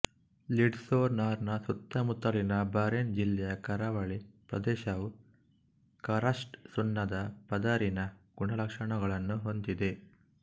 Lisdoonvarna ಸುತ್ತಮುತ್ತಲಿನ Burren ಜಿಲ್ಲೆಯ ಕರಾವಳಿ ಪ್ರದೇಶವು ಕರಸ್ಟ್ ಸುಣ್ಣದ ಪದರಿನ ಗುಣಲಕ್ಷಣಗಳನ್ನು ಹೊಂದಿದೆ